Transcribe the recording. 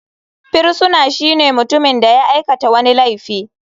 Firisuna shine mutumin da ya aikata wani laifi.